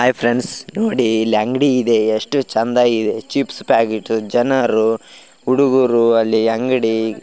hi friends ನೋಡಿ ಇಲ್ಲಿ ಅಂಗಡಿ ಇದೆ ಎಷ್ಟು ಚೆಂದ ಇದೆ ಚಿಪ್ಸ್ ಪ್ಯಾಕೆಟ್ ಜನರು ಹುಡುಗರು ಅಂಗಡಿ --